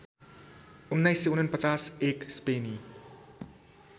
१९४९ एक स्पेनी